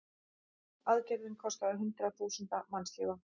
Aðgerðin kostaði hundruð þúsunda mannslífa.